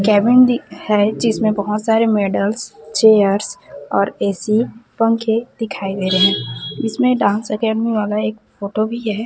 Cabin भी है जिसमें बहोत सारे मेडल्स चेयर्स और ए_सी पंखे दिखाई दे रहे इसमें डांस एकेडमी वाला एक फोटो भी है।